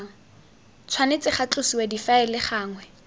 tshwanetse ga tlosiwa difaele gangwe